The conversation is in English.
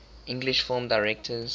english film directors